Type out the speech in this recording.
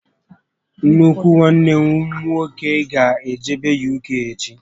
Nnukwu nwanne m nwoke gá ejebe UK echi